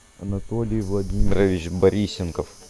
анатолий владимирович борисенков